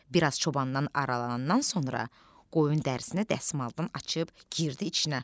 Bir az çobandan aralanandan sonra qoyun dərisini dəsmaldan açıb girdi içinə.